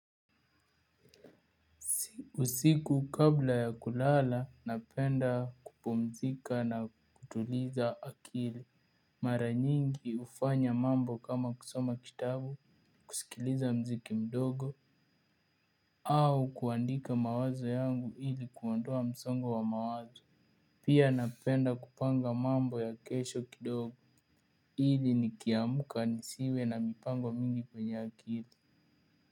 Usiku kabla ya kulala, napenda kupumzika na kutuliza akili. Mara nyingi hufanya mambo kama kusoma kitabu, kusikiliza mziki mdogo, au kuandika mawazo yangu ili kuondoa msongo wa mawazo. Pia napenda kupanga mambo ya kesho kidogo. Ili nikiamka nisiwe na mipango mingi kwenye akili.